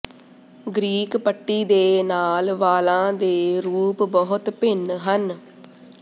Greek ਪੱਟੀ ਦੇ ਨਾਲ ਵਾਲਾਂ ਦੇ ਰੂਪ ਬਹੁਤ ਭਿੰਨ ਹਨ